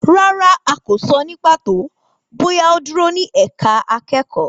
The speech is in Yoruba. Rárá, a kò sọ ní pàtó bóyá ó dúró ní ẹ̀ka akẹ́kọ̀ọ́.